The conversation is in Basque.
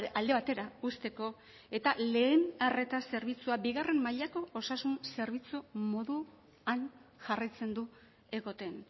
alde batera uzteko eta lehen arreta zerbitzua bigarren mailako osasun zerbitzu moduan jarraitzen du egoten